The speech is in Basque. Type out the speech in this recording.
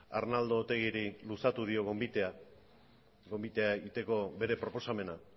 arnaldo otegiri luzatu dio gonbitea gonbitea egiteko bere proposamena